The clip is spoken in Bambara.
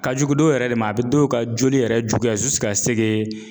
Ka jugu dɔw yɛrɛ de ma a bɛ dɔw ka joli yɛrɛ juguya